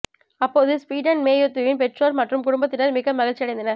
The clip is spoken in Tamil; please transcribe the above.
அப்போது ஸ்டீவின் மேத்யூவின் பெற்றோர் மற்றும் குடும்பத்தினர் மிக்க மகிழ்ச்சி அடைந்தனர்